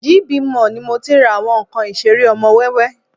GB Mall ni mo tí ń ra àwọn nǹkan ìṣeré ọmọ wẹ́wẹ́